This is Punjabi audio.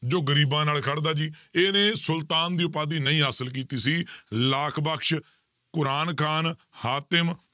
ਜੋ ਗ਼ਰੀਬਾਂ ਨਾਲ ਖੜਦਾ ਜੀ, ਇਹਨੇ ਸੁਲਤਾਨ ਦੀ ਉਪਾਧੀ ਨਹੀਂ ਹਾਸਿਲ ਕੀਤੀ ਸੀ ਲਾਖ ਬਕਸ, ਕੁਰਾਨ ਖ਼ਾਨ, ਹਾਤਿਮ